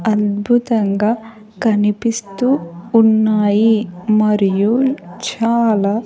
అద్భుతంగా కనిపిస్తూ ఉన్నాయి మరియు చాలా.